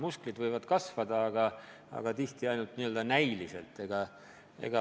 Musklid võivad kasvada, aga tihti ainult näiliselt.